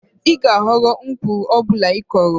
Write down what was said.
Ị ga-aghọrọ mkpụrụ ọ bụla ị kụrụ.